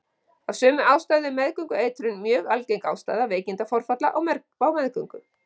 Af sömu ástæðu er meðgöngueitrun mjög algeng ástæða veikindaforfalla á meðgöngu.